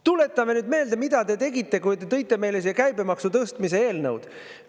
Tuletame meelde, mida te tegite, kui te tõite meile siia käibemaksu tõstmise eelnõud.